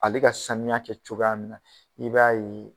Ale ka sanuya kɛ cogoya min na i b'a ye